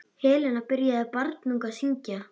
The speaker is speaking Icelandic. Helena byrjaði barnung að syngja.